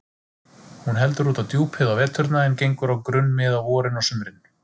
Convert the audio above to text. Hún heldur út á djúpið á veturna en gengur á grunnmið á vorin og sumrin.